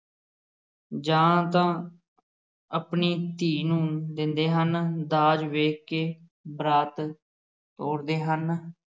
ਜਾਂ ਤਾ ਆਪਣੀ ਧੀ ਨੂੰ ਦਿੰਦੇ ਹਨ ਦਾਜ ਵੇਖ ਕੇ ਬਰਾਤ ਤੋਰਦੇ ਹਨ।